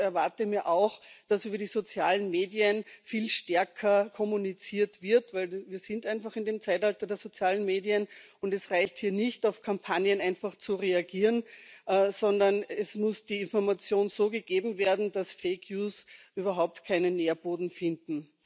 Und ich erwarte mir auch, dass über die sozialen Medien viel stärker kommuniziert wird, denn wir sind einfach in dem Zeitalter der sozialen Medien, und es reicht hier nicht, auf Kampagnen einfach zu reagieren, sondern es muss die Information so gegeben werden, dass Fake News überhaupt keinen Nährboden finden.